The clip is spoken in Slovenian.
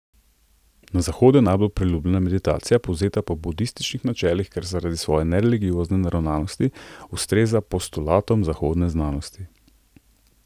Na Zahodu je najbolj priljubljena meditacija, povzeta po budističnih načelih, ker zaradi svoje nereligiozne naravnanosti ustreza postulatom zahodne znanosti.